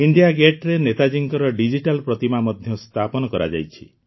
ଇଣ୍ଡିଆଗେଟରେ ନେତାଜୀଙ୍କର ଡିଜିଟାଲ୍ ପ୍ରତିମା ମଧ୍ୟ ସ୍ଥାପନ କରାଯାଇଛି